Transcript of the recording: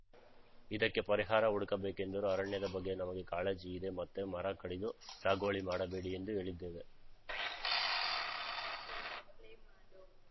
ಇದಕ್ಕೆ ಪರಿಹಾರ ಹುಡುಕಬೇಕೆಂದರು ಅರಣ್ಯದ ಬಗ್ಗೆ ನಮಗೆ ಕಾಳಜಿ ಇದೆ ಮತ್ತೆ ಮರ ಕಡಿದು ಸಾಗುವಳಿ ಮಾಡಬೇಡಿ ಎಂದು ಹೇಳಿದ್ದೇವೆ